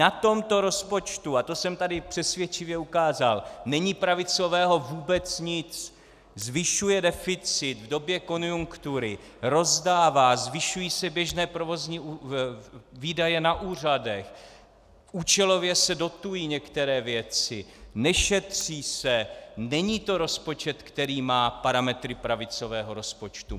Na tomto rozpočtu, a to jsem tady přesvědčivě ukázal, není pravicového vůbec nic: zvyšuje deficit v době konjunktury, rozdává, zvyšují se běžné provozní výdaje na úřadech, účelově se dotují některé věci, nešetří se, není to rozpočet, který má parametry pravicového rozpočtu.